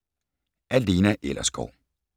Af Lena Ellersgaard